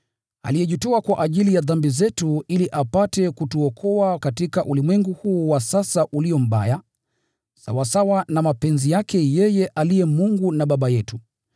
aliyejitoa kwa ajili ya dhambi zetu ili apate kutuokoa katika ulimwengu huu wa sasa ulio mbaya, sawasawa na mapenzi yake yeye aliye Mungu na Baba yetu.